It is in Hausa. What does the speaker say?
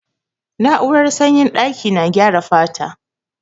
Na'urar sanyin daƙi na gyara fata.